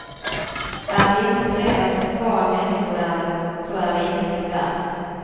Är vi inte beredda att försvara människovärdet, så är det ingenting värt.